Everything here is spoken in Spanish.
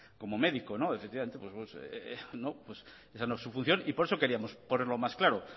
como médico efectivamente esa no es su función y por eso queríamos ponerlo más claro